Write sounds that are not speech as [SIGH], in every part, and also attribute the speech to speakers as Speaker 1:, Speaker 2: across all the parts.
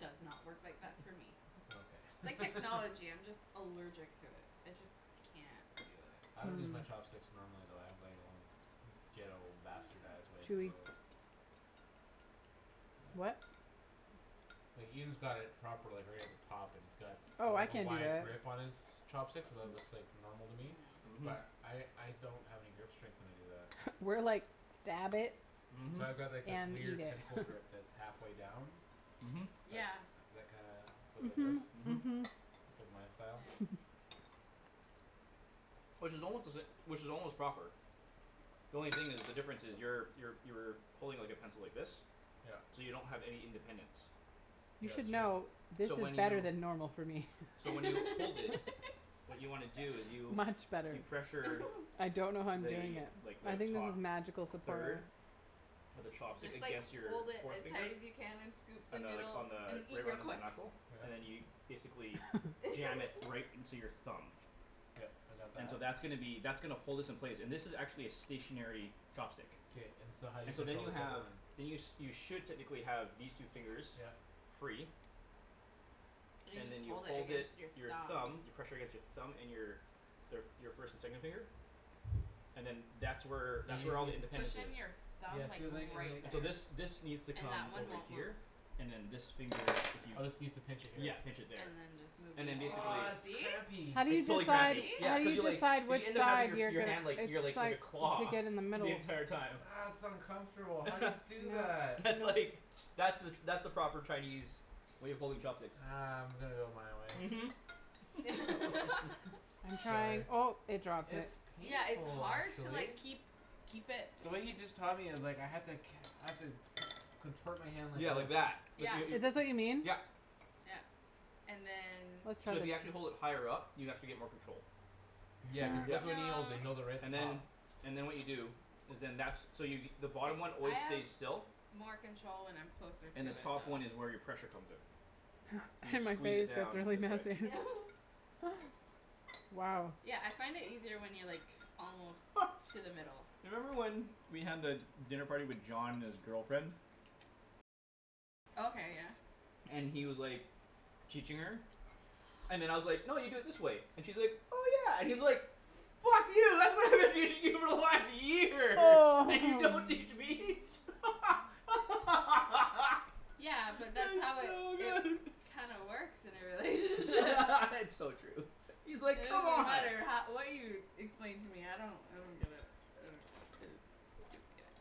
Speaker 1: does not work like that for me.
Speaker 2: Yeah,
Speaker 1: It's
Speaker 2: okay.
Speaker 1: like
Speaker 2: [LAUGHS]
Speaker 1: technology. I'm just allergic to it. I just can't do it.
Speaker 2: I don't use
Speaker 3: Hmm.
Speaker 2: my chopsticks normally though. I have like my own ghetto bastardized way of
Speaker 3: Chewy.
Speaker 2: the
Speaker 3: What?
Speaker 2: [NOISE] Like, Ian's got it proper, like, right at the top, and it's got,
Speaker 3: Oh, I
Speaker 2: like, a
Speaker 3: can't do
Speaker 2: wide
Speaker 3: that.
Speaker 2: grip on his chopsticks so that looks like normal to me
Speaker 4: Mhm.
Speaker 2: but I, I don't have any grip strength when I do that.
Speaker 3: We're like, "Stab it.
Speaker 4: Mhm.
Speaker 2: So I've got like this
Speaker 3: and eat
Speaker 2: weird
Speaker 3: it."
Speaker 2: pencil
Speaker 3: [LAUGHS]
Speaker 2: grip that's half way down.
Speaker 4: Mhm.
Speaker 2: That,
Speaker 1: Yeah.
Speaker 2: that kinda goes like this.
Speaker 3: Mhm,
Speaker 4: Mhm.
Speaker 3: mhm.
Speaker 2: It's like my style.
Speaker 3: [LAUGHS]
Speaker 4: Which is almost to sa- which is almost proper. The only thing is, the difference is, you're, you're, you're pulling, like, a pencil, like this
Speaker 2: Yep.
Speaker 4: so you don't have any independence.
Speaker 3: You
Speaker 2: Yeah,
Speaker 3: should
Speaker 2: it's true.
Speaker 3: know, this
Speaker 4: So when
Speaker 3: is better
Speaker 4: you
Speaker 3: than normal for me.
Speaker 4: so when you hold it
Speaker 1: [LAUGHS]
Speaker 4: what you wanna do is you
Speaker 3: Much better.
Speaker 4: you pressure
Speaker 1: [LAUGHS]
Speaker 3: I don't know how I'm doing it.
Speaker 4: the, like,
Speaker 3: I
Speaker 4: the
Speaker 3: think this
Speaker 4: top
Speaker 3: is magical supporter.
Speaker 4: third of the
Speaker 1: You
Speaker 4: chopstick
Speaker 1: just, like,
Speaker 4: against your
Speaker 1: hold it
Speaker 4: forth
Speaker 1: as
Speaker 4: finger
Speaker 1: hard as you can and scoop the
Speaker 4: on the, like,
Speaker 1: noodle
Speaker 4: on
Speaker 1: and
Speaker 4: the
Speaker 1: eat
Speaker 4: right
Speaker 1: real
Speaker 4: on the
Speaker 1: quick.
Speaker 4: knuckle and then you
Speaker 2: Yeah.
Speaker 4: basically jam it right
Speaker 1: [LAUGHS]
Speaker 4: into your thumb.
Speaker 2: Yep, I got
Speaker 4: And so
Speaker 2: that.
Speaker 4: that's gonna be, that's gonna hold this in place, and this is actually a stationary
Speaker 2: K-
Speaker 4: chopstick.
Speaker 2: k, and so how do you
Speaker 4: And so then
Speaker 2: control
Speaker 4: you
Speaker 2: the second
Speaker 4: have
Speaker 2: one?
Speaker 4: then you sh- should technically have these two fingers
Speaker 2: Yep.
Speaker 4: free.
Speaker 1: And you
Speaker 4: and
Speaker 1: just
Speaker 4: then you
Speaker 1: hold it
Speaker 4: hold
Speaker 1: against your
Speaker 4: it, your
Speaker 1: thumb.
Speaker 4: thumb, you pressure against your thumb, and your their f- your first and second finger and then that's where
Speaker 2: So
Speaker 4: that's where all the
Speaker 1: Push
Speaker 4: independence
Speaker 1: in
Speaker 4: is.
Speaker 1: your
Speaker 2: you
Speaker 1: thumb,
Speaker 2: Yeah,
Speaker 1: like,
Speaker 2: see, and like, and
Speaker 1: right
Speaker 2: like
Speaker 4: And so this,
Speaker 1: there.
Speaker 4: this needs to
Speaker 1: And that
Speaker 4: come
Speaker 1: one
Speaker 4: over
Speaker 1: won't move.
Speaker 4: here, and then this finger, if you
Speaker 2: Oh, this needs to pinch it here.
Speaker 4: Yeah, pinch it there.
Speaker 1: And
Speaker 4: and then
Speaker 1: then
Speaker 4: basically
Speaker 2: Ah, that's
Speaker 1: this. [INAUDIBLE]
Speaker 2: crampy.
Speaker 3: How do you
Speaker 4: It's totally
Speaker 1: See?
Speaker 3: decide,
Speaker 4: crampy,
Speaker 1: See?
Speaker 4: yeah.
Speaker 3: how do
Speaker 4: Cuz
Speaker 3: you
Speaker 4: you, like,
Speaker 3: decide
Speaker 4: you
Speaker 3: which
Speaker 4: end up having
Speaker 3: side
Speaker 4: your f-
Speaker 3: you're
Speaker 4: your
Speaker 3: gonna,
Speaker 4: hand like, your,
Speaker 3: it's
Speaker 4: like, like a
Speaker 3: like You take
Speaker 4: claw
Speaker 3: it in the middle.
Speaker 4: the entire
Speaker 2: Ah,
Speaker 4: time.
Speaker 2: that's uncomfortable. How do you
Speaker 4: [LAUGHS]
Speaker 2: do that?
Speaker 4: That's, like, that's the that's the proper Chinese way of holding chopsticks.
Speaker 2: Ah, I'm gonna go my way.
Speaker 4: Mhm.
Speaker 1: [LAUGHS]
Speaker 4: [LAUGHS]
Speaker 3: I'm
Speaker 2: Sorry.
Speaker 3: trying, oh, it dropped it.
Speaker 2: It's
Speaker 1: Yeah, it's
Speaker 2: painful
Speaker 1: hard to like
Speaker 2: actually.
Speaker 1: keep, keep it
Speaker 2: The way he just taught me, it's like, I had to ca- I have to con- contort my hand like
Speaker 4: Yeah, like that.
Speaker 2: this.
Speaker 4: Like
Speaker 1: Yeah.
Speaker 4: yo-
Speaker 3: Is this what you
Speaker 4: yo-
Speaker 3: mean?
Speaker 4: yep.
Speaker 1: Yeah. And then
Speaker 4: So if you actually
Speaker 3: [INAUDIBLE]
Speaker 4: hold it higher up, you actually get more control.
Speaker 2: Yeah, cuz look
Speaker 4: Yep.
Speaker 2: when he holds it;
Speaker 1: No.
Speaker 2: he holds it right at
Speaker 4: And
Speaker 2: the top.
Speaker 4: then, and then what you do is then, that's, so you the
Speaker 1: Se-
Speaker 4: bottom one
Speaker 1: I
Speaker 4: always
Speaker 1: have
Speaker 4: stays still
Speaker 1: more control when I'm closer to
Speaker 4: and the
Speaker 1: it
Speaker 4: top one is
Speaker 1: though.
Speaker 4: where your pressure comes in. So you squeeze it down this way
Speaker 3: [INAUDIBLE]
Speaker 1: [LAUGHS]
Speaker 3: Wow.
Speaker 1: Yeah, I find it easier when you're, like almost
Speaker 4: [LAUGHS]
Speaker 1: to the middle.
Speaker 4: You remember when we had the dinner party with John and his girlfriend?
Speaker 1: Okay, yeah.
Speaker 4: And he was, like teaching her and then I was like, "No, you do it this way." And she's like, "Oh, yeah" and he's like "Fuck you [LAUGHS] [INAUDIBLE] for one year,
Speaker 1: Oh.
Speaker 4: and you don't teach me?" [LAUGHS]
Speaker 1: Yeah, but that's
Speaker 4: That
Speaker 1: how
Speaker 4: was
Speaker 1: it,
Speaker 4: so
Speaker 1: it
Speaker 4: good.
Speaker 1: kinda works in a [LAUGHS] relationship.
Speaker 4: [LAUGHS] It's so true. He's,
Speaker 1: It
Speaker 4: like, "Come
Speaker 1: doesn't
Speaker 4: on."
Speaker 1: matter how, what you explain to me; I don't, I don't get it. I don't get it. I don't get it.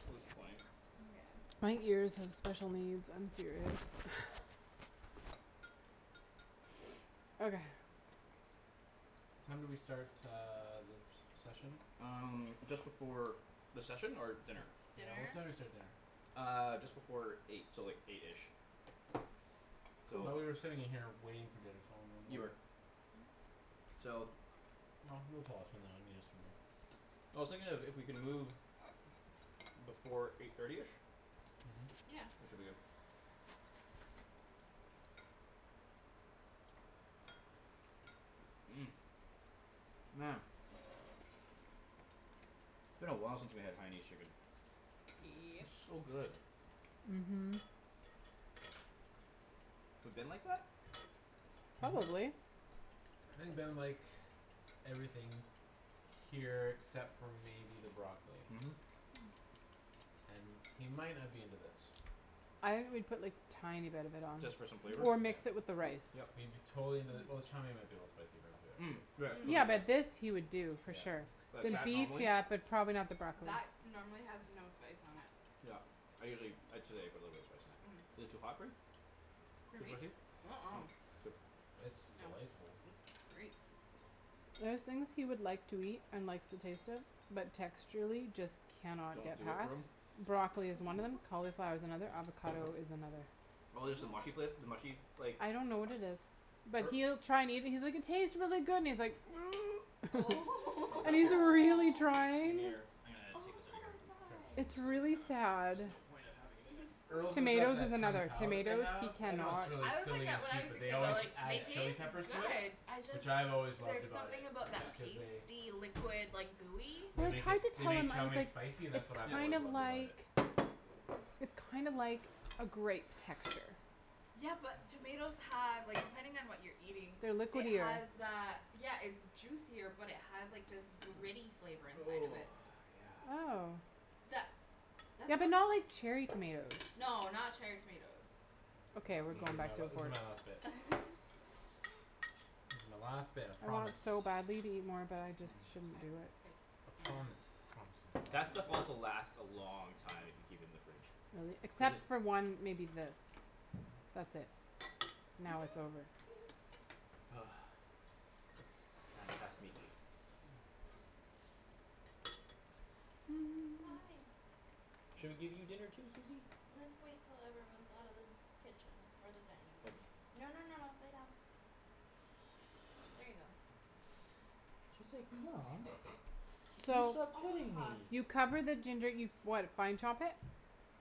Speaker 4: That was funny.
Speaker 1: Yeah.
Speaker 3: My ears have special needs. I'm serious. Okay.
Speaker 2: What time did we start uh the se- session?
Speaker 4: Um, just before The session? Or dinner?
Speaker 2: Yeah, what time did we start dinner?
Speaker 4: Uh, just before eight, so like eight-ish. So.
Speaker 2: Thought we were sitting in here waiting for dinner, so
Speaker 4: You were.
Speaker 2: [INAUDIBLE]
Speaker 4: So.
Speaker 2: No, no. [INAUDIBLE]
Speaker 4: I was thinking if, if we can move before eight thirty-ish
Speaker 2: Mhm.
Speaker 1: Yeah.
Speaker 4: we should be good. Mmm, man. It's been a while since we had Haianese chicken.
Speaker 1: Yep.
Speaker 4: It's so good.
Speaker 3: Mhm.
Speaker 1: Mhm.
Speaker 4: We've been like that?
Speaker 2: Mhm.
Speaker 4: [NOISE]
Speaker 3: Probably.
Speaker 2: I think Ben would like everything here except for maybe the broccoli.
Speaker 4: Mhm.
Speaker 2: And he might not be into this.
Speaker 3: I would put, like, tiny bit of it on.
Speaker 4: Just for some flavor?
Speaker 3: Or mix it
Speaker 2: Yeah.
Speaker 3: with the rice.
Speaker 4: Yep.
Speaker 2: He'd be totally into the, well, the chow mein might be a little spicy for him too, actually.
Speaker 4: Mm, right, cuz
Speaker 3: Yeah,
Speaker 4: of
Speaker 3: but this
Speaker 4: the
Speaker 3: he would do for sure.
Speaker 2: Yeah.
Speaker 4: Like,
Speaker 3: The
Speaker 4: that,
Speaker 3: beef,
Speaker 4: normally?
Speaker 3: yeah, but probably not the broccoli.
Speaker 1: That normally has no spice on it.
Speaker 4: Yep, I usually, ah, today I put a little bit of spice in it. Is it too hot for you?
Speaker 1: For
Speaker 4: Too
Speaker 1: me?
Speaker 4: spicy?
Speaker 1: Uh- uh.
Speaker 4: Oh, good.
Speaker 2: It's
Speaker 1: No,
Speaker 2: delightful.
Speaker 1: it's great.
Speaker 3: There are thing he would like to eat and likes to taste it but texturally just can not
Speaker 4: Don't
Speaker 3: get
Speaker 4: do it
Speaker 3: past.
Speaker 4: for him?
Speaker 3: Broccoli is one of them,
Speaker 2: [NOISE]
Speaker 3: cauliflower is another,
Speaker 2: Hm.
Speaker 3: avocado is another.
Speaker 4: Oh there's the mushy fla- the mushy, like
Speaker 3: I don't know what it is. But
Speaker 2: Or
Speaker 3: he'll try and eat and he's like, "It tastes really good" and he's like, [NOISE]
Speaker 1: Oh.
Speaker 3: [LAUGHS]
Speaker 1: [LAUGHS]
Speaker 3: And he's a
Speaker 4: [INAUDIBLE]
Speaker 3: really
Speaker 1: Aw.
Speaker 3: trying.
Speaker 4: Gimme your, ah, take
Speaker 1: Oh,
Speaker 4: this outta
Speaker 1: poor
Speaker 4: here.
Speaker 2: Sure.
Speaker 3: It's
Speaker 1: guy.
Speaker 4: Cuz it's
Speaker 3: really
Speaker 4: kind of,
Speaker 3: sad.
Speaker 4: there's no point of having it in there.
Speaker 2: Earl's has got
Speaker 3: Tomatoes is
Speaker 2: that Kung
Speaker 3: another.
Speaker 2: Pow that they
Speaker 3: Tomatoes, he
Speaker 2: have. I know it's
Speaker 3: cannot.
Speaker 2: really
Speaker 1: I was like
Speaker 2: silly and
Speaker 1: that when I
Speaker 2: cheap
Speaker 1: was
Speaker 2: but
Speaker 1: a
Speaker 2: they
Speaker 1: kid
Speaker 2: always
Speaker 1: though.
Speaker 4: No,
Speaker 1: They
Speaker 2: add
Speaker 4: yep.
Speaker 2: chile
Speaker 1: taste
Speaker 2: peppers to it
Speaker 4: Yep.
Speaker 1: good. I just,
Speaker 2: which I've always loved
Speaker 1: there's
Speaker 2: about it,
Speaker 1: something about that
Speaker 4: Yeah.
Speaker 2: just cause they
Speaker 1: pasty liquid, like, gooey.
Speaker 2: they
Speaker 3: Well, I
Speaker 2: make it,
Speaker 3: tried to
Speaker 2: they
Speaker 3: tell
Speaker 2: make
Speaker 3: him. I
Speaker 2: chow
Speaker 3: was
Speaker 2: mein
Speaker 3: like,
Speaker 2: spicy and that's what
Speaker 3: "It's
Speaker 2: I've
Speaker 4: Yeah
Speaker 3: kind
Speaker 2: always
Speaker 3: of
Speaker 2: loved about
Speaker 3: like
Speaker 2: it.
Speaker 3: it's kind of like a grape texture."
Speaker 1: Yeah, but tomatoes have, like, depending on what you're eating
Speaker 3: They're
Speaker 1: it
Speaker 3: liquidier.
Speaker 1: has that, yeah, it's juicier but it has, like, this
Speaker 4: [NOISE]
Speaker 1: gritty flavor inside of it.
Speaker 4: Oh, yeah.
Speaker 3: Oh.
Speaker 1: That That's
Speaker 3: Yeah,
Speaker 1: what
Speaker 3: but not like cherry tomatoes.
Speaker 1: No, not cherry tomatoes.
Speaker 3: Okay, we're
Speaker 2: This
Speaker 3: going
Speaker 2: is
Speaker 3: back
Speaker 2: my,
Speaker 3: to
Speaker 4: Mm.
Speaker 2: this is my last
Speaker 3: [INAUDIBLE]
Speaker 2: bit.
Speaker 1: [LAUGHS]
Speaker 2: This is my last bit, I
Speaker 3: I
Speaker 2: promise.
Speaker 3: want so badly to eat more but I just
Speaker 4: Mm.
Speaker 1: I, I
Speaker 3: shouldn't do it.
Speaker 2: [NOISE] I
Speaker 1: can't
Speaker 2: promise. My
Speaker 4: That
Speaker 2: promise
Speaker 4: stuff
Speaker 2: is
Speaker 4: also
Speaker 2: a lie.
Speaker 4: lasts a long time if you keep it in the fridge.
Speaker 3: Really,
Speaker 4: Cuz
Speaker 3: except
Speaker 2: [NOISE]
Speaker 4: it
Speaker 3: for one, maybe this. That's it; now it's over.
Speaker 1: [LAUGHS]
Speaker 4: [NOISE] [INAUDIBLE]
Speaker 1: Hi.
Speaker 3: [NOISE]
Speaker 4: Should we give you dinner too, Susie?
Speaker 1: Let's wait till everyone's out of the kitchen. Or the dinning room.
Speaker 4: Okay.
Speaker 1: No, no, no, no, lay down. There you go.
Speaker 4: [INAUDIBLE] Mom. You
Speaker 3: So
Speaker 4: stopped
Speaker 1: Oh,
Speaker 4: petting
Speaker 1: huff.
Speaker 4: me.
Speaker 3: you cover the ginger, you what, fine chop it?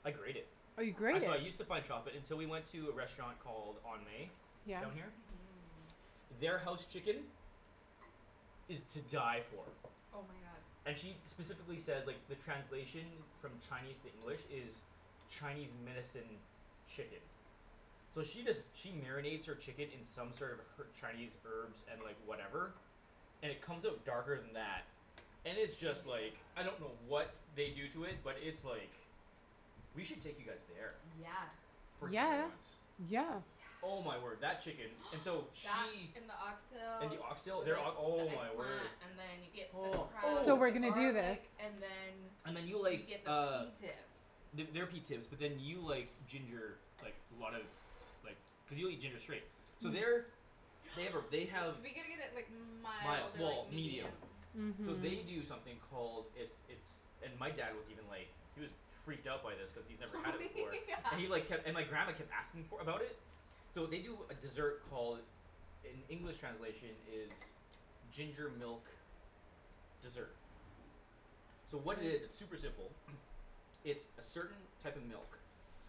Speaker 4: I grate it.
Speaker 3: Oh, you
Speaker 4: I,
Speaker 3: grate it?
Speaker 4: so I use to fine chop it until we went to a restaurant called On May
Speaker 3: Yeah.
Speaker 4: down
Speaker 1: Mhm.
Speaker 4: here. Their house chicken is to die for.
Speaker 1: Oh, my god.
Speaker 4: And she specifically says, like, the translation from Chinese to English is Chinese medicine chicken. So she does she marinates her chicken in sort of her- Chinese herbs and, like, whatever and it comes out darker than that and it's just, like
Speaker 1: Yeah.
Speaker 4: I don't know what they do to it but it's, like we should take you guys there
Speaker 1: Yes.
Speaker 4: for dinner
Speaker 3: Yeah,
Speaker 4: once.
Speaker 3: yeah.
Speaker 1: Oh, yeah.
Speaker 4: Oh, my word, that chicken. And so
Speaker 1: That
Speaker 4: she
Speaker 1: and the
Speaker 4: And
Speaker 1: oxtail
Speaker 4: the oxtail,
Speaker 1: with like
Speaker 4: their ok- oh,
Speaker 1: the
Speaker 4: my
Speaker 1: eggplant
Speaker 4: word.
Speaker 1: and then you get the
Speaker 4: Oh.
Speaker 1: crab
Speaker 3: So
Speaker 1: with
Speaker 3: we're
Speaker 1: the
Speaker 4: Ooh.
Speaker 2: Oh.
Speaker 3: gonna do this.
Speaker 1: garlic and then
Speaker 4: And then you
Speaker 1: you
Speaker 4: like,
Speaker 1: get the pea
Speaker 4: uh
Speaker 1: tips.
Speaker 4: The, their pea tips but then you like ginger, like, a lot of like, cuz you'll eat ginger straight. So their
Speaker 1: [NOISE]
Speaker 4: They have a, they have
Speaker 1: We gotta get it, like, mild
Speaker 4: Mild,
Speaker 1: or,
Speaker 4: well,
Speaker 1: like, medium.
Speaker 4: medium. So
Speaker 3: Mhm.
Speaker 4: they do something called It's, it's and my dad was even like he was freaked out by this cuz he's never
Speaker 1: Oh
Speaker 4: had it before
Speaker 1: [LAUGHS] yeah.
Speaker 4: and he like kept, and my grandma kept for, about it. So they do a desert called in English translation is ginger milk dessert. So what it is, it's super simple. [NOISE] It's a certain type of milk.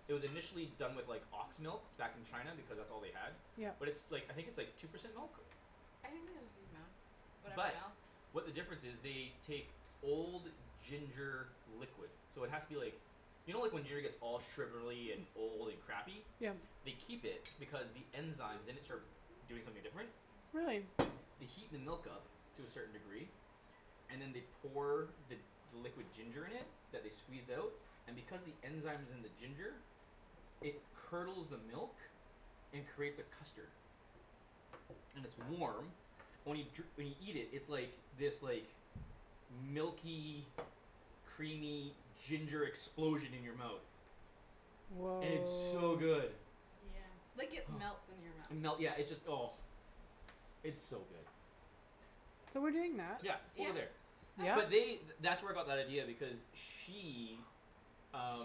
Speaker 4: It was initially done with, like, ox milk back in China because that's all they had
Speaker 3: Yep.
Speaker 4: but it's, like, I think it's, like, two percent milk?
Speaker 1: I think they just use milk, whatever
Speaker 4: But
Speaker 1: milk.
Speaker 4: what the difference is, they take old ginger liquid. So it has to be, like you know like, when giner gets all sugarly and old and crappy?
Speaker 3: Yeah.
Speaker 4: They keep it because the enzymes in it start doing something different.
Speaker 1: [NOISE]
Speaker 3: Really.
Speaker 4: They heat the milk up to a certain degree and then they pour the, the liquid ginger in it that they squeezed out and because the enzyme's in the ginger it curdles the milk and creates a custard. And it's warm only jur- when you eat it, it's like, this, like, milky creamy ginger explosion in your mouth.
Speaker 3: Woah.
Speaker 4: And it's so good.
Speaker 1: Like, it
Speaker 4: [NOISE]
Speaker 1: melts in your
Speaker 4: And melt,
Speaker 1: mouth.
Speaker 4: yeah, it just, oh. It's so good.
Speaker 3: So we're doing that?
Speaker 4: Yeah,
Speaker 1: Yeah.
Speaker 4: over there.
Speaker 3: Yeah?
Speaker 1: Oh,
Speaker 4: But
Speaker 1: yeah.
Speaker 4: they, th- that's where I got that idea because she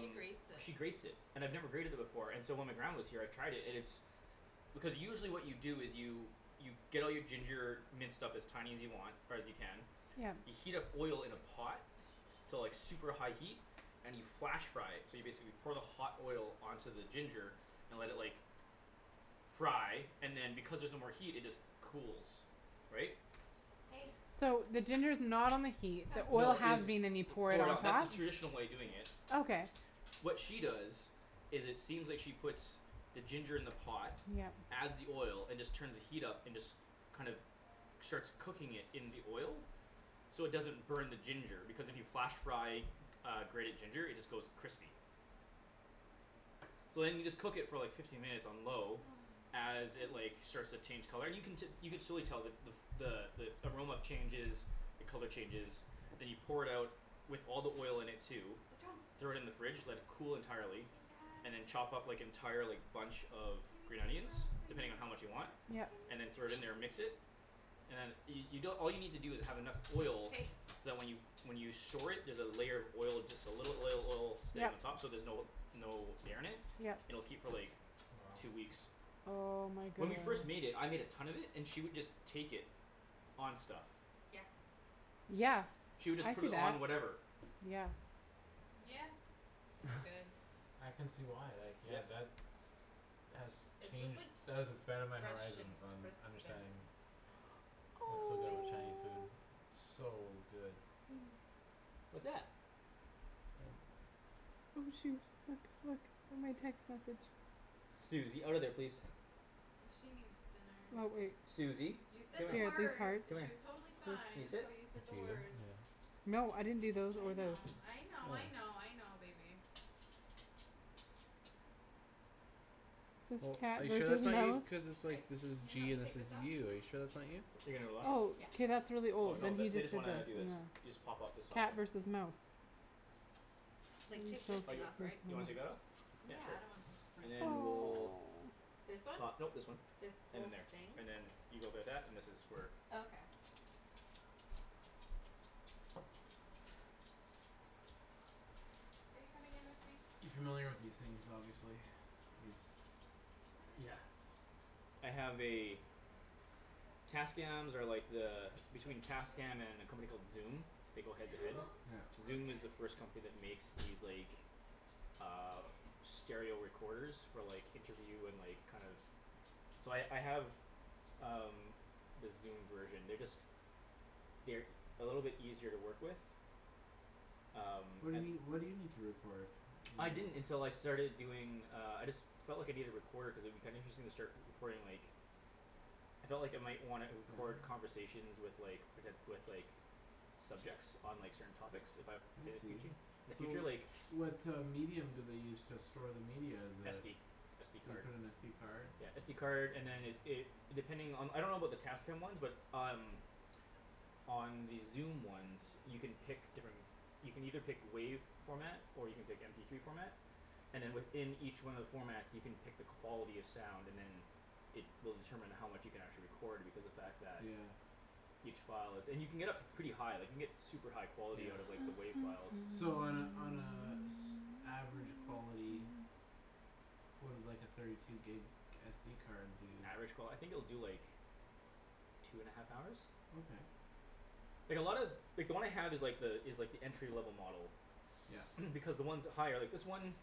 Speaker 1: She
Speaker 4: she
Speaker 1: grates it.
Speaker 4: grates it. And I've never grated it before and so when my grandma was here I tried it, and it's because usually what you do is you you get all your ginger minced up as tiny as you want, or as you can
Speaker 3: Yeah.
Speaker 4: you heat up oil in a pot to like super high heat
Speaker 1: [NOISE]
Speaker 4: and you flash fry it so you basically pour the hot oil onto the ginger and let it, like fry and then because there's no more heat it just cools. Right?
Speaker 1: Hey.
Speaker 3: So the ginger's not on the heat, the
Speaker 1: Come.
Speaker 3: oil
Speaker 4: No, it
Speaker 3: has
Speaker 4: is.
Speaker 3: been and you pour it
Speaker 4: Pour it
Speaker 3: on
Speaker 4: out, that's the
Speaker 3: top?
Speaker 4: traditional way of doing it.
Speaker 1: Sit.
Speaker 3: Okay.
Speaker 4: What she does is it seems like she puts the ginger in the pot
Speaker 3: Yep.
Speaker 4: adds the oil and just turns the heat up and just kind of, starts cooking it in the oil. So it doesn't burn the ginger because if you flash fry uh, grated ginger it just goes crispy. So then you just cook it for like fifteen minutes on low
Speaker 1: Oh,
Speaker 4: as it,
Speaker 1: oh.
Speaker 4: like, starts to change color, and you can te- you can surely tell the, the f- the, the aroma changes the color changes then you pour it out with all the oil in it too
Speaker 1: [NOISE] What's wrong?
Speaker 4: throw it in the fridge, let it cool entirely and
Speaker 1: [INAUDIBLE]
Speaker 4: then chop up, like, entire, like, bunch of green
Speaker 1: Gimme
Speaker 4: onions
Speaker 1: some
Speaker 4: depending on how
Speaker 1: broccoli.
Speaker 4: much you want
Speaker 1: [NOISE]
Speaker 3: Yup.
Speaker 1: Gimme
Speaker 4: and then throw it in
Speaker 1: some
Speaker 4: there and mix it
Speaker 1: broccoli.
Speaker 4: and then you, you don- all you need to do is have enough oil so
Speaker 1: Hey.
Speaker 4: that when you, when you store it, there's a layer of oil, just a little oil, oil stain on
Speaker 3: Yup.
Speaker 4: top so there's no, no air in it,
Speaker 3: Yup.
Speaker 4: and it'll keep for, like,
Speaker 2: Wow.
Speaker 4: two weeks.
Speaker 3: Oh, my
Speaker 4: When we
Speaker 3: goodness.
Speaker 4: first made it, I made a ton of it and she would just take it on stuff.
Speaker 1: Yeah.
Speaker 3: Yeah,
Speaker 4: She would just
Speaker 3: I
Speaker 4: put
Speaker 3: see
Speaker 4: it
Speaker 3: that,
Speaker 4: on whatever.
Speaker 3: yeah.
Speaker 1: Yeah, it's good.
Speaker 2: I can see why, like, yeah,
Speaker 4: Yep.
Speaker 2: that has
Speaker 1: It's just,
Speaker 2: changed,
Speaker 1: like,
Speaker 2: that has expanded my
Speaker 1: fresh and
Speaker 2: horizons on
Speaker 1: crisp and
Speaker 2: understanding
Speaker 1: a
Speaker 2: Was so
Speaker 1: little
Speaker 2: good with
Speaker 1: spicy.
Speaker 2: Chinese food, so good.
Speaker 1: Hm.
Speaker 4: What's that?
Speaker 2: [NOISE]
Speaker 3: Oh, shoot. Look, look at my text message.
Speaker 4: Susie, outta there, please.
Speaker 1: She needs dinner.
Speaker 3: [INAUDIBLE]
Speaker 4: Susie,
Speaker 1: You said
Speaker 4: come
Speaker 1: the words.
Speaker 4: here, come
Speaker 1: She
Speaker 4: here.
Speaker 1: was
Speaker 3: [INAUDIBLE]
Speaker 1: totally fine
Speaker 4: Can you
Speaker 3: This.
Speaker 4: sit?
Speaker 1: until you
Speaker 2: That's
Speaker 1: said the
Speaker 2: you,
Speaker 1: words.
Speaker 2: yeah.
Speaker 3: No, I didn't do those
Speaker 1: I
Speaker 3: or those.
Speaker 1: know, I know, I
Speaker 2: Oh.
Speaker 1: know, I know, baby.
Speaker 2: Oh, are you sure that's not you,
Speaker 3: [INAUDIBLE]
Speaker 2: cuz it's
Speaker 1: I,
Speaker 2: like, this is
Speaker 1: can you help
Speaker 2: G
Speaker 1: me
Speaker 2: and this
Speaker 1: take
Speaker 2: is
Speaker 1: this off?
Speaker 2: you. Are you sure that's not you?
Speaker 4: You're gonna what?
Speaker 3: Oh,
Speaker 1: Yeah.
Speaker 3: k, that's really
Speaker 4: Oh,
Speaker 3: old.
Speaker 4: no,
Speaker 3: Then he
Speaker 4: the, they
Speaker 3: just did this
Speaker 4: just
Speaker 3: and
Speaker 4: wanna do this. You
Speaker 3: this.
Speaker 4: just pop up this soft
Speaker 3: Cat
Speaker 4: one.
Speaker 3: versus mouse.
Speaker 1: Like, take this
Speaker 4: Oh,
Speaker 1: thing
Speaker 4: you,
Speaker 1: off, right?
Speaker 4: you wanna take that off?
Speaker 3: [INAUDIBLE]
Speaker 1: Yeah,
Speaker 4: Yeah,
Speaker 1: I don't want
Speaker 4: sure, and
Speaker 1: to [INAUDIBLE]
Speaker 4: then
Speaker 3: Oh.
Speaker 4: we'll
Speaker 1: This one?
Speaker 4: pop, no, this
Speaker 1: This whole
Speaker 4: one.
Speaker 1: thing?
Speaker 4: And then there. And then you go there that, and this is for
Speaker 1: Oh, okay.
Speaker 3: Are you coming
Speaker 2: You
Speaker 3: in with me?
Speaker 2: familiar with these things, obviously. These
Speaker 4: Yeah. I have a Tascams are like the between Tascam and a company called Zoom they go head to head.
Speaker 2: Yeah.
Speaker 4: Zoom is the first company that makes these, like, uh stereo recorders for, like interview and, like, kind of So I, I have um, the Zoom version. They're just they're e- a little bit easier to work with. Um.
Speaker 2: What do you need, what do you need to record?
Speaker 4: I didn't until I starting doing, uh, I just felt like I needed a recorder cuz it would be kinda interesting to start re- recording, like I felt like I might wanna record
Speaker 2: Yeah?
Speaker 4: conversations with, like, poten- with, like subjects on, like, certain topics if I
Speaker 2: I
Speaker 4: in the
Speaker 2: see.
Speaker 4: futu- in the
Speaker 2: So
Speaker 4: future, like
Speaker 2: what uh medium do they use to store the media is a
Speaker 4: SD.
Speaker 2: So
Speaker 4: SD
Speaker 2: you
Speaker 4: card.
Speaker 2: put an SD card?
Speaker 4: Yeah, SD card and then it, it it, depending on the, I don't about the Tascam ones but um on the Zoom ones you can pick different you can either pick WAV format or you can pick MP three format and then within each one of the formats you can pick the quality of sound, and then it will determine how much you can actually record because the fact that
Speaker 2: Yeah.
Speaker 4: each file is, and you can get up to pretty high, like, you can get super high quality out of, like, the
Speaker 2: Yeah.
Speaker 4: WAV files.
Speaker 2: So on a, on a s- average quality
Speaker 3: [NOISE]
Speaker 2: what would like a thirty two gig SD card do?
Speaker 4: Average qual- I think it will do, like two and a half hours?
Speaker 2: Okay.
Speaker 4: Like, a lot of like, the one I have is, like, the, is like, the entry level model.
Speaker 2: Yep.
Speaker 4: [NOISE] Because the ones with higher, like, this one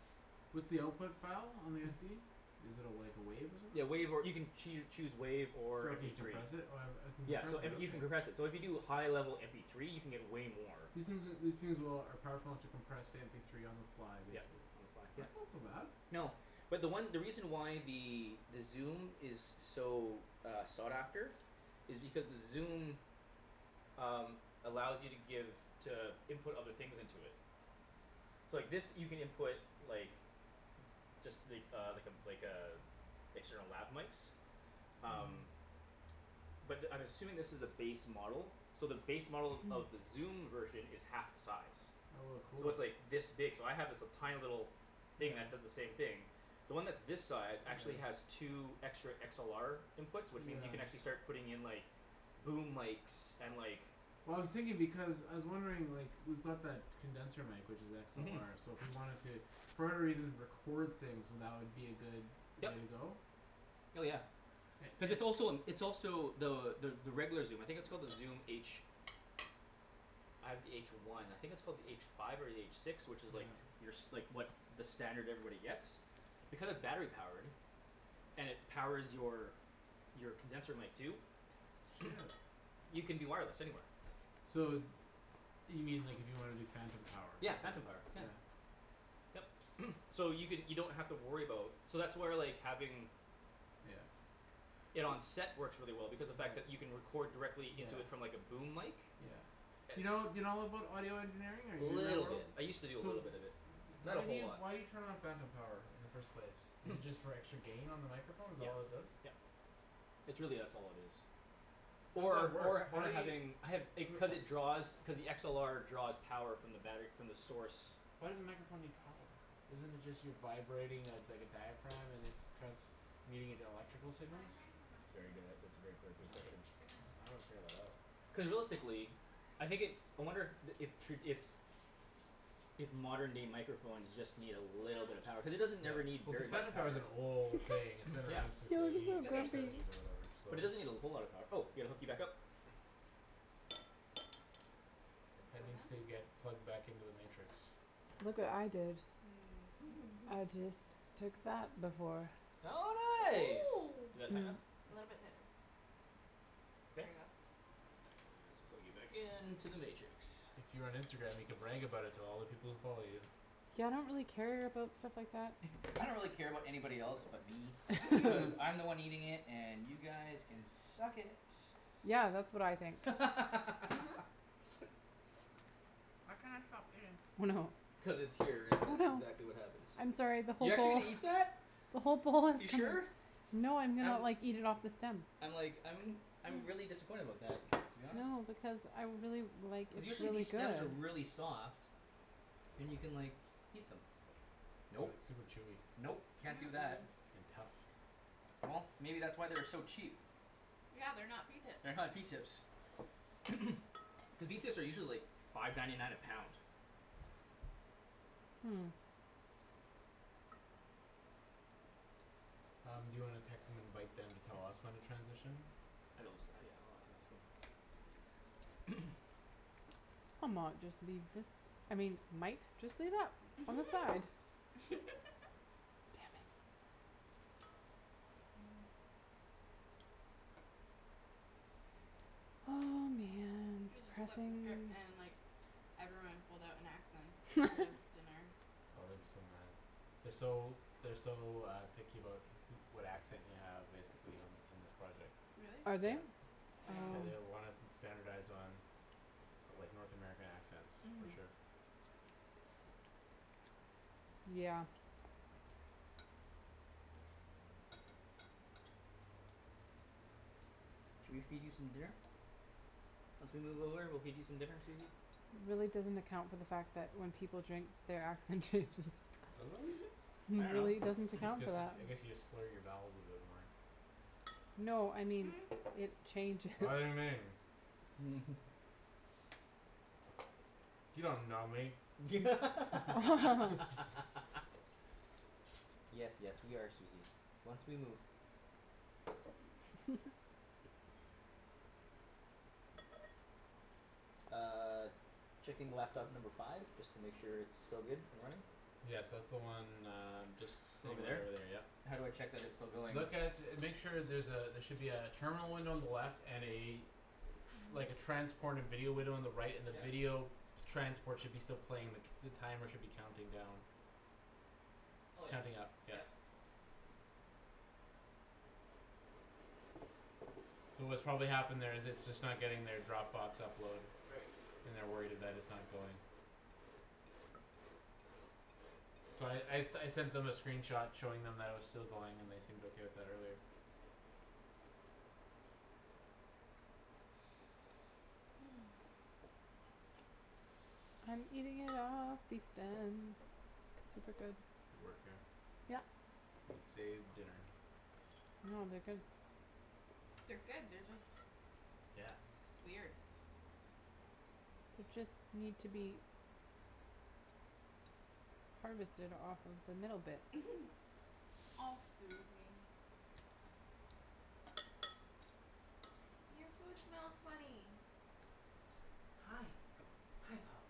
Speaker 2: What's the output file on the SD? Is it a, like, a wave or
Speaker 4: Yeah, WAV, or you
Speaker 2: something?
Speaker 4: can choo- choose WAV or
Speaker 2: So you
Speaker 4: MP three.
Speaker 2: decompress it? Oh uh I can
Speaker 4: Yeah,
Speaker 2: compress
Speaker 4: so,
Speaker 2: it,
Speaker 4: and you can
Speaker 2: okay.
Speaker 4: compress it, so if you do high level MP three you can get way more.
Speaker 2: These things are, these things will, are powerful enough to compress to mp three on the fly,
Speaker 4: Yep,
Speaker 2: basically?
Speaker 4: on the file, yep.
Speaker 2: That's not so bad.
Speaker 4: No, but the one, the reason why the Zoom is so, uh, sought after is because the Zoom um, allows you to give to input other things into it. So, like, this you can input like just, like, uh, like a, like a external lab mikes.
Speaker 2: Hm.
Speaker 4: Um. But I'm assuming this is the base model. So the base model of the Zoom version is half the size.
Speaker 2: Oh a
Speaker 4: So
Speaker 2: cool.
Speaker 4: it's, like, this big, so I have, like, this tiny little thing
Speaker 2: Yeah.
Speaker 4: that does the same thing. The one that's this size actually has
Speaker 2: Yeah.
Speaker 4: two extra XLR inputs which means you can
Speaker 2: Yeah.
Speaker 4: actually start putting in, like boom mikes and, like
Speaker 2: Well, I was thinking because, I was wondering, like, we've got that condenser mic which is
Speaker 4: Mhm.
Speaker 2: XLR so if we wanted to for whatever reason record things, that would be a good way to
Speaker 4: Yep.
Speaker 2: go?
Speaker 4: Hell, yeah.
Speaker 2: It,
Speaker 4: Cuz
Speaker 2: it
Speaker 4: it's also a, it's also the, the, the regular Zoom, I think it's called the Zoom H. I have the H one. I think it's called the H five or the H six, which is, like
Speaker 2: Yeah.
Speaker 4: your s- like, what, the standard everybody gets. Because battery-powered. And it powers your your condenser mic too.
Speaker 2: Shit.
Speaker 4: [NOISE] You can do wireless, anywhere.
Speaker 2: So you mean, like, if you wanna do phantom power.
Speaker 4: Yeah, phantom power,
Speaker 2: Yeah.
Speaker 4: yeah. Yep, [NOISE] so you can, you don't have to worry about So that's where, like, having
Speaker 2: Yeah.
Speaker 4: it on set works really well because the fact that you can
Speaker 2: Yeah.
Speaker 4: record directly
Speaker 2: Yeah.
Speaker 4: into it from, like, a boom mic.
Speaker 2: Yeah. Do you know, do you know about audio engineering or are
Speaker 4: Little
Speaker 2: you
Speaker 4: bit.
Speaker 2: [INAUDIBLE]
Speaker 4: I used to do a
Speaker 2: So
Speaker 4: little
Speaker 2: w-
Speaker 4: bit of it. Not a
Speaker 2: why do
Speaker 4: whole
Speaker 2: you,
Speaker 4: lot.
Speaker 2: why do you turn on phantom power in the first place? Is it
Speaker 4: [NOISE]
Speaker 2: just for extra gain on the microphone? Is that
Speaker 4: Yep,
Speaker 2: all it does?
Speaker 4: yep, it's really that's all it is.
Speaker 2: Or at
Speaker 4: Or,
Speaker 2: work,
Speaker 4: or,
Speaker 2: how
Speaker 4: or
Speaker 2: do you
Speaker 4: having, I have, it, cuz
Speaker 2: [NOISE]
Speaker 4: it draws cuz the XLR draws power from the battery, from the source.
Speaker 2: Why does the microphone need power? Isn't it just you vibrating a, dike a diaphragm and it's transmuting into electrical signals?
Speaker 4: That's a very good, ah, that's a very gor, good
Speaker 2: I gotta,
Speaker 4: question.
Speaker 2: I gotta figure that out.
Speaker 4: Cuz realistically I think it, I wonder the, if tra- if if modern day microphones just need a little bit of power cuz it doesn't
Speaker 2: Yeah,
Speaker 4: ever need
Speaker 2: well, cuz
Speaker 4: very much
Speaker 2: phantom power
Speaker 4: power.
Speaker 2: is an old thing; it's been around
Speaker 4: Yeah.
Speaker 2: since
Speaker 3: You
Speaker 2: the
Speaker 3: look
Speaker 2: eighties
Speaker 3: so
Speaker 2: or
Speaker 1: Okay.
Speaker 3: grumpy.
Speaker 2: seventies or whatever,
Speaker 4: But it doesn't need a whole lot of
Speaker 2: so.
Speaker 4: power. Oh, yeah, gotta hook you back up.
Speaker 2: Ped needs to get plugged back into the Matrix.
Speaker 3: Look what I did. I
Speaker 1: [LAUGHS]
Speaker 3: just took that before.
Speaker 4: Oh,
Speaker 1: Oh.
Speaker 4: nice. Is that tight
Speaker 3: Mm.
Speaker 4: enough?
Speaker 1: A little bit tighter. There you
Speaker 4: Okay?
Speaker 1: go.
Speaker 4: Ah, let's plug you back into the Matrix.
Speaker 2: If you were on Instagram, you could brag about it to all the people who follow you.
Speaker 3: Yeah, I don't really care about stuff like that.
Speaker 4: [NOISE] I don't really care about anybody else but me. Cuz
Speaker 3: [LAUGHS]
Speaker 1: [LAUGHS]
Speaker 4: I'm the one eating it and you guys can suck .
Speaker 3: Yeah, that's what I think.
Speaker 1: Mhm.
Speaker 4: [LAUGHS]
Speaker 1: I cannot stop eating.
Speaker 3: Oh, no.
Speaker 4: Cuz it's here and
Speaker 3: Oh,
Speaker 4: that's
Speaker 3: no.
Speaker 4: exactly what happens.
Speaker 3: I'm sorry the
Speaker 4: You're
Speaker 3: whole
Speaker 4: actually
Speaker 3: bowl
Speaker 4: gonna eat that?
Speaker 3: the whole bowl is
Speaker 4: You
Speaker 3: [INAUDIBLE]
Speaker 4: sure?
Speaker 3: No, I'm gonna,
Speaker 4: I'm
Speaker 3: like, eat it off the stem.
Speaker 4: I'm like, I'm I'm really disappointed about that to be honest.
Speaker 3: No, because I really, like,
Speaker 4: Cuz
Speaker 3: it's
Speaker 4: usually
Speaker 3: really
Speaker 4: these stems are
Speaker 3: good.
Speaker 4: really soft. And you can, like eat them.
Speaker 2: But
Speaker 4: Nope,
Speaker 2: it's super chewy
Speaker 4: nope, can't do that.
Speaker 2: and tough.
Speaker 4: Well, maybe that's why they were so cheap.
Speaker 1: Yeah, they're not pea tips.
Speaker 4: They're not pea tips. [NOISE] Cuz pea tips are usually, like, five ninety nine a pound.
Speaker 3: Hmm.
Speaker 2: Um, do you wanna text and invite them to tell us when to transition?
Speaker 4: [INAUDIBLE] [NOISE]
Speaker 3: I mought just leave this, I mean, might just leave that on the side.
Speaker 1: [LAUGHS]
Speaker 3: Oh, man, its
Speaker 1: Coulda just flipped the
Speaker 3: pressing.
Speaker 1: script and, like Everyone pulled out an accent for this
Speaker 3: [LAUGHS]
Speaker 1: dinner.
Speaker 2: Oh, they'd be so mad. They're so, they're so uh picky about who- what accent you have, basically, on, in this project.
Speaker 3: Are
Speaker 1: Really?
Speaker 3: they?
Speaker 2: Yeah. Yeah,
Speaker 1: No.
Speaker 2: they uh
Speaker 3: Oh.
Speaker 2: wanna st- standardize on of like North American accents, for
Speaker 1: Mhm.
Speaker 2: sure.
Speaker 3: Yeah.
Speaker 4: Should we feed you some dinner? Once we move over we'll feed you some dinner, Susie.
Speaker 3: It really doesn't account for the fact that when people drink their accent changes.
Speaker 1: [LAUGHS]
Speaker 4: I
Speaker 3: It really
Speaker 4: dunno.
Speaker 3: doesn't
Speaker 2: This
Speaker 3: account for
Speaker 2: gets,
Speaker 3: that.
Speaker 2: I guess you just slur your vowels a bit more.
Speaker 3: No, I mean
Speaker 1: [NOISE]
Speaker 3: it changes. [LAUGHS]
Speaker 4: [LAUGHS]
Speaker 2: [INAUDIBLE]
Speaker 3: [LAUGHS]
Speaker 2: [LAUGHS]
Speaker 4: [LAUGHS] Yes, yes, we are Susie, once we move.
Speaker 3: [LAUGHS]
Speaker 4: Uh Checking laptop number five just to make sure it's still good and running.
Speaker 2: Yes, that's the one uh just
Speaker 4: Just
Speaker 2: sitting
Speaker 4: over
Speaker 2: right over there,
Speaker 4: there.
Speaker 2: yep.
Speaker 4: How do I check that it's still going?
Speaker 2: Look at, make sure there's a, there should be a terminal window on the left and a like, a transported video window on the right and the
Speaker 4: Yep.
Speaker 2: video transport should still be playing the c- the timer should be counting down.
Speaker 4: Oh yeah,
Speaker 2: Counting up, yep.
Speaker 4: yep.
Speaker 2: So what's probably happened there is it's just not getting their Dropbox upload.
Speaker 4: Right.
Speaker 2: And they're worried it, that it's not going. So I, I, I sent them a screen shot showing them that it was still going and they seemed okay with that earlier.
Speaker 1: [NOISE]
Speaker 3: [NOISE] I'm eating it all, pea stems, super good.
Speaker 2: Good work here.
Speaker 3: Yep.
Speaker 2: It saved dinner.
Speaker 3: No, they're good.
Speaker 1: They're good; they're just weird.
Speaker 3: They just need to be harvested off of the middle bits.
Speaker 1: [LAUGHS] Off, Susie. Your food smells funny.
Speaker 4: Hi, hi, pup.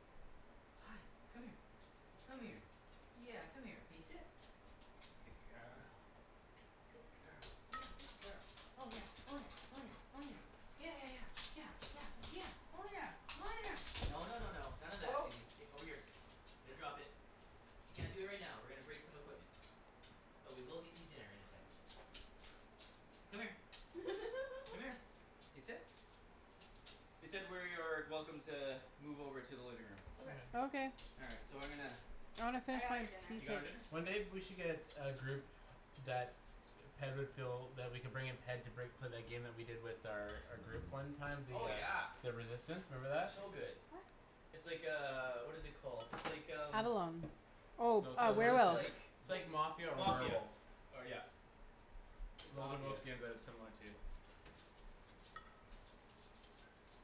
Speaker 4: Hi, come here. Come here. Yeah, come here. Can you sit? Good girl. [NOISE] Good girl, yeah, good girl. Oh, yeah, oh, yeah, oh, yeah, oh, yeah. Yeah, yeah, yeah, yeah, yeah, yeah. Oh, yeah, oh, yeah, no, no, no, no. None of that,
Speaker 1: Oh.
Speaker 4: Susie, k, over here. Here, drop it. You can't do it right now. We're gonna break some equipment. But we will get you dinner in a second. Come here. Come here.
Speaker 1: [LAUGHS]
Speaker 4: Can you sit? They said we're, are welcome to move over to the living room.
Speaker 1: Okay.
Speaker 3: Okay.
Speaker 4: All right, so I'm gonna
Speaker 3: I wanna
Speaker 1: I
Speaker 3: finish
Speaker 1: got
Speaker 3: my
Speaker 1: her dinner.
Speaker 4: You
Speaker 3: pea
Speaker 4: got
Speaker 3: tips.
Speaker 4: her dinner?
Speaker 2: One day we should get a group that Ped would feel that we could bring in Ped to break for that game we did with their, our group one time, the
Speaker 4: Oh,
Speaker 2: uh
Speaker 4: yeah.
Speaker 2: the Resistance, remember that?
Speaker 4: So good.
Speaker 1: What?
Speaker 4: It's like, uh, what is it called, it's like, um
Speaker 3: Avalon. Oh,
Speaker 2: No
Speaker 3: uh
Speaker 4: No, what is it,
Speaker 2: [INAUDIBLE]
Speaker 4: like
Speaker 3: [INAUDIBLE]
Speaker 2: It's like Mafia
Speaker 4: wha-
Speaker 2: or
Speaker 4: Mafia,
Speaker 2: Werewolf.
Speaker 4: or, yeah. It's
Speaker 2: Those are both
Speaker 4: Mafia.
Speaker 2: games that it's similar to.